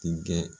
Denkɛ